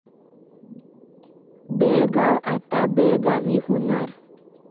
बेळगाव' आता 'बेळगावी' होणार